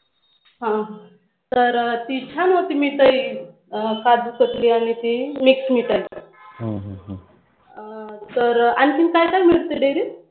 हां तर तिथं ना तुम्ही तरी काजु कतली आणि ती मिक्स मिठाई आणखी काय काय मिळतं. Dairy त